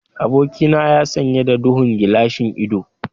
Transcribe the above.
Abokina ya sanye da duhun gilashin ido.